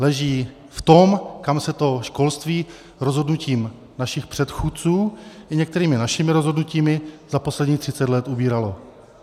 Leží v tom, kam se to školství rozhodnutím našich předchůdců i některými našimi rozhodnutími za posledních 30 let ubíralo.